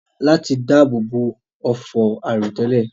Láti dáàbò bo òfò àìròtẹ́lẹ̀